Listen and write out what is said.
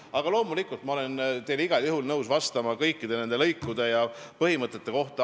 Aga loomulikult, ma olen igal juhul nõus vastama kõikide nende lõikude ja põhimõtete kohta.